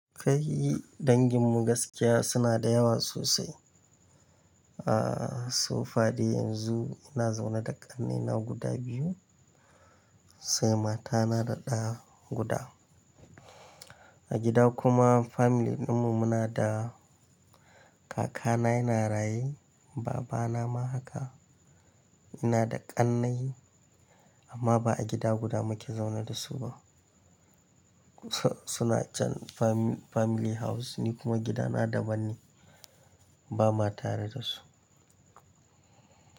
Kai danginmu gaskiya suna da yawa sosai. Aaa so far dai yanzu ina zaune da ƙannena guda biyu sai mata na da ɗa guda. A gida kuma family ɗinmu muna da kaka na yana raye baba na ma haka. Ina da ƙannai amma ba a gida guda muke zaune da su ba. To suna can family house ni kuma gida na daban ne ba ma tare da su.